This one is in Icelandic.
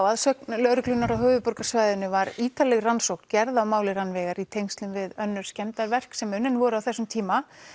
að sögn lögreglunnar á höfuðborgarsvæðinu var ítarleg rannsókn gerð á máli Rannveigar í tengslum við önnur skemmdarverk sem unnin voru á þessum tíma